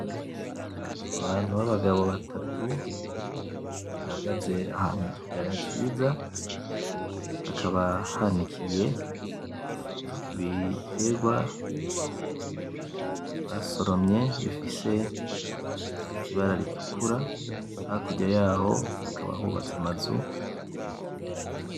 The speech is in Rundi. Abantu babagabo batatu bahagaze ahantu mukiyaya ciza, hakaba hanikiye ibiterwa basoromye bifise ibara ritukura. Hakurya yaho hakaba hubatse amazu.